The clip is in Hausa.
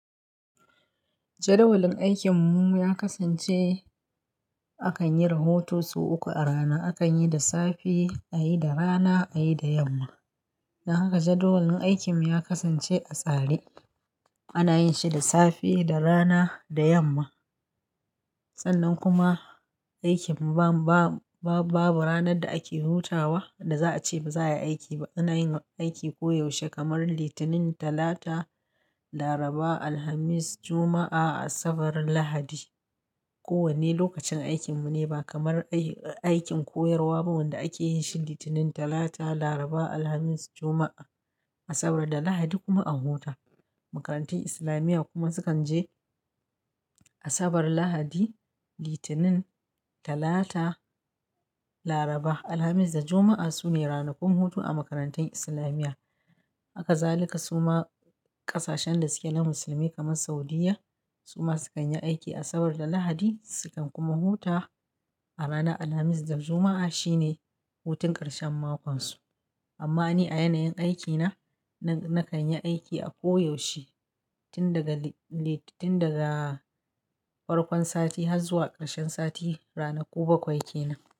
Jedawalin aikin mu ya kasance akan yi rahoton su uku a rana. Akan yi da safe, a yi da rana, a yi da yamma. Don haka jedawalin aikin mu ya kasance a tsare. Ana yin shi da safe, da rana, da yamma. Sannan kuma aikin mu ba, ba, ba, babu ranar da ake hutawa da za a ce ba za a yi aiki ba. Ana yin aiki koyaushe kamar Litinin, Talata, Laraba, Alhamis, Juma'a, Asabar, Lahadi. Ko wanne lokacin aikin mu ne ba kamar aiki, aikin koyarwa ba wanda ake yin shi Litinin, Talata, Laraba, Alhamis, Juma'a, Asabar da Lahadi kuma an huta. Makarantun Islamiyya kuma sukan je Asabar, Lahadi, Litinin, Talata, Laraba, Alhamis da Juma'a su ne ranakun hutu a makarantun Islamiyya. Hakazalika suma ƙasashen da suke na musulmai kamar Saudiyya, suma sukan yi aiki Asabar da Lahadi. Sudan kuma huta a rana Alhamis da Juma'a shine hutun ƙarshen makon su. Amma ni a yanayin aiki na, na, na kan yi aiki a koyaushe. Tin daga li-li, tin daga farkon sati har zuwa ƙarshen sati. Ranaku bakwai ke nan.